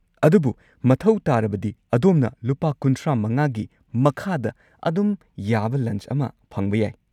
ꯑꯗꯨꯕꯨ ꯃꯊꯧ ꯇꯥꯔꯕꯗꯤ ꯑꯗꯣꯝꯅ ꯂꯨꯄꯥ ꯳꯵ꯒꯤ ꯃꯈꯥꯗ ꯑꯗꯨꯝ ꯌꯥꯕ ꯂꯟꯆ ꯑꯃ ꯐꯪꯕ ꯌꯥꯏ꯫